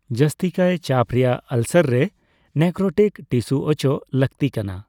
ᱡᱟᱹᱥᱛᱤᱠᱟᱭ ᱪᱟᱯ ᱨᱮᱭᱟᱜ ᱟᱞᱥᱟᱨ ᱨᱮ ᱱᱮᱠᱨᱳᱴᱤᱠ ᱴᱤᱥᱩ ᱚᱪᱚᱜ ᱞᱟᱹᱠᱛᱤ ᱠᱟᱱᱟ ᱾